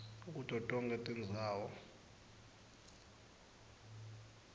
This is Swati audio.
kuto tonkhe tindzawo